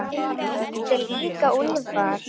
Ég heiti líka Úlfar.